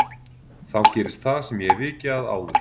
Þá gerist það sem ég hef vikið að áður